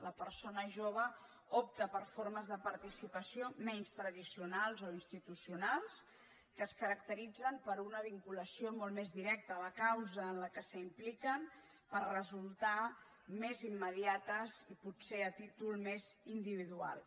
la persona jove opta per formes de participació menys tradicionals o institucionals que es caracteritzen per una vinculació molt més directa a la causa en la qual s’impliquen perquè resulten més immediates i potser a títol més individual